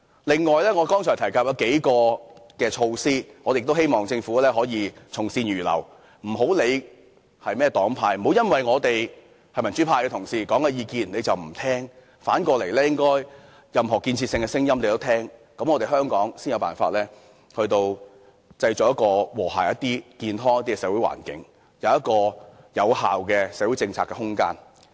此外，我剛才提及數項措施，希望政府可以從善如流，不要理會是甚麼黨派提出，不要因為是民主派同事提出的意見而不聽；反過來，政府應聽取任何有建設性的聲音，香港才有辦法創造更和諧、健康的社會環境，建立有效的社會政策空間。